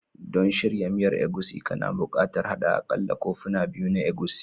Don shirya miyan egusi, kana buƙatar haɗa aƙalla kofuna biyu na egusi